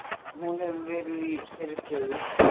Hún hefur verið í þeirri stöðu